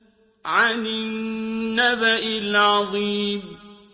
عَنِ النَّبَإِ الْعَظِيمِ